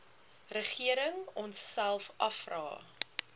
regering onsself afvra